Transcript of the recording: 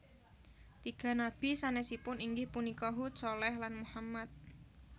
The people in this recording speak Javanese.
Tiga nabi sanesipun inggih punika Hud Shaleh lan Muhammad